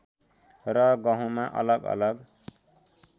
र गहुँमा अलग अलग